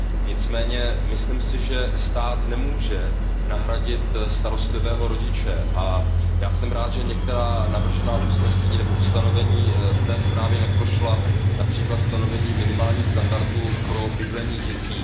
Nicméně myslím si, že stát nemůže nahradit starostlivého rodiče, a já jsem rád, že některá navržená ustanovení z té zprávy neprošla, například stanovení minimálních standardů pro bydlení dětí.